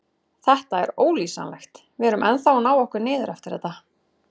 Þetta er ólýsanlegt, við erum ennþá að ná okkur niður eftir þetta.